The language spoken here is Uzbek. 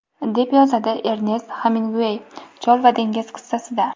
deb yozadi Ernest Xeminguey "Chol va dengiz" qissasida.